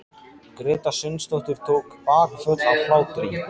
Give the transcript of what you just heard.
Gréta Sveinsdóttir tók bakföll af hlátri.